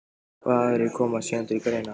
Hvaða aðrir koma síðan til greina?